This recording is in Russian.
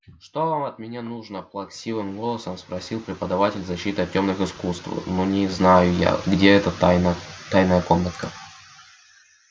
что вам от меня нужно плаксивым голосом спросил преподаватель защиты от тёмных искусств ну не знаю я где эта тайна тайная комнатка